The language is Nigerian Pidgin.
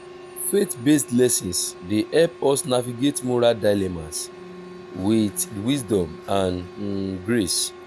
faith-based lessons dey help us navigate moral dilemmas with wisdom and grace.